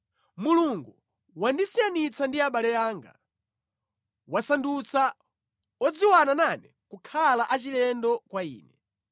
“Mulungu wandisiyanitsa ndi abale anga; wasandutsa odziwana nane kukhala achilendo kwa ine.